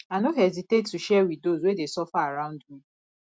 i no hesitate to share with those wey dey suffer around me